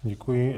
Děkuji.